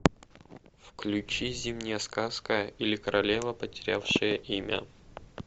включи зимняя сказка или королева потерявшая имя